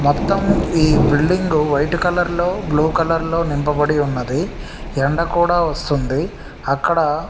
మొత్తం ఈ building white colour లో బ్లూ కలర్ లో నింపబడి ఉన్నదీ ఎండా కూడా వస్తుంది అక్కడ--